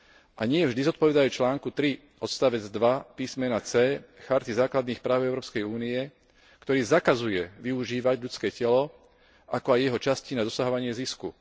A nie vždy zodpovedajú článku 3 odseku 2 písmenu c Charty základných práv Európskej únie, ktorý zakazuje využívať ľudské telo ako aj jeho časti na dosahovanie zisku.